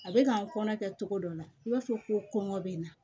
A bɛ ka n kɔnɔ kɛ cogo dɔ la i b'a fɔ ko kɔngɔ bɛ n na